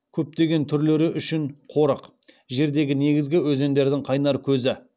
көптеген түрлері үшін қорық жердегі негізгі өзендердің қайнар көзі